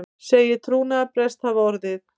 Segir trúnaðarbrest hafa orðið